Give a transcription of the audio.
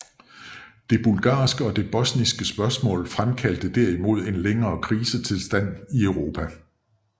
Det bulgarske og det bosniske spørgsmål fremkaldte derimod en længere krisetilstand i Europa